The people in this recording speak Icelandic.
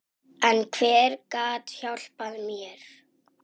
En hver gat hjálpað mér?